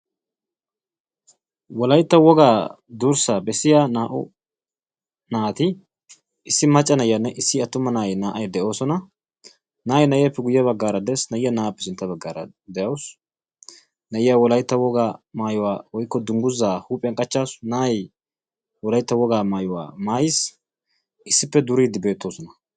Wolaytta wogaa durssaa bessiyaa naa"u naati issi macca na'iyaanne issi attuma na'ay naa"ay de'oosona. na'ay na'eeppe guye baggaara de'ees. a'iyaa na'aappe sintta baggaara de'awus. na'iyaa wolaytta wogaa maayuwaa woykko dunguzaa huuphphiyaan qachchasu. na'ay wolaytta wogaa maayuwaa maayiis. issippe duriidi beettoosona.